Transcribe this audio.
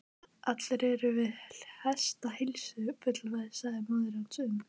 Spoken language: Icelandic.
Allir eru við hestaheilsu, fullvissaði móðir hans um.